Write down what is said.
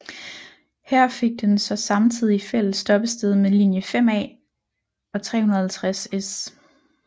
Her fik den så samtidig fælles stoppested med linje 5A og 350S